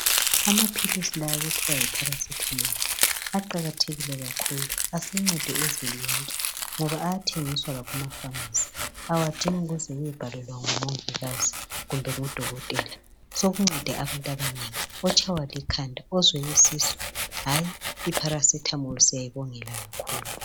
Amaphilisi la okuthiwa yi paracetamol aqakathekile kakhulu asencede uzulu wonke ngoba ayathengiswa lakuma pharmacy awadingi ukuze uyebhalelwa ngu mongikazi kumbe ngudokotela sokuncede abantu abanengi otshaywa likhanda, ozwe isisu hayi I paracetamol siyayibongela kakhulu.